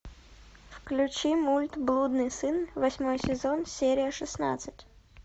включи мульт блудный сын восьмой сезон серия шестнадцать